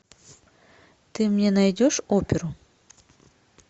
ты мне найдешь оперу